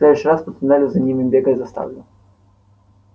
в следующий раз по туннелю за ними бегать заставлю